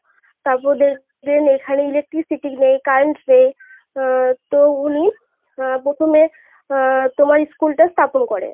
তারপর দেখলেন এখানে Electricity নেই Current নেই আহ তো উনি আহ প্রথমে আহ তোমার School টা স্থাপন করে.